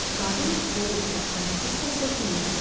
Qadın boğuq və acıqlı səslə dilləndi: